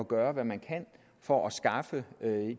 gøre hvad man kan for at skaffe